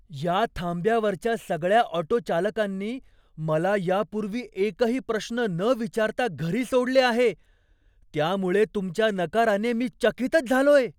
या थांब्यावरच्या सगळ्या ऑटोचालकांनी मला या पूर्वी एकही प्रश्न न विचारता घरी सोडले आहे, त्यामुळे तुमच्या नकाराने मी चकितच झालोय!